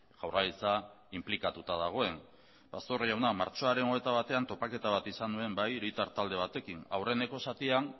jaurlaritza inplikatuta dagoen pastor jauna martxoaren hogeita batean topaketa bat izan nuen bai hiritar talde batekin aurreneko zatian